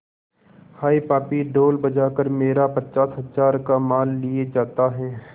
हाय पापी ढोल बजा कर मेरा पचास हजार का माल लिए जाता है